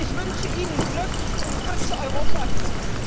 Ich wünsche Ihnen Glück, und ich wünsche Europa Glück!